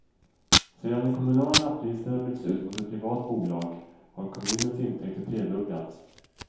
Sedan de kommunala lapplisorna bytts ut mot ett privat bolag har kommunens intäkter tredubblats.